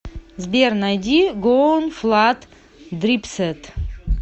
сбер найди гоунфладд дрипсэт